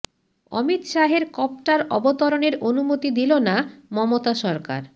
অমিত শাহের কপ্টার অবতরণের অনুমতি দিল না মমতা সরকার